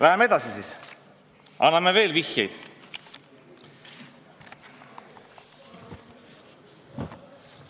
Läheme siis edasi, anname veel vihjeid.